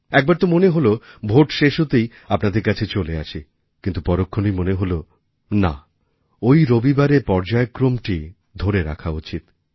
একবার তো মনে হল ভোট শেষ হতেই আপনাদের কাছে চলে আসি কিন্তু পরক্ষণেই মনে হল না ওই রবিবারের পর্যায়ক্রমটি ধরে রাখা উচিৎ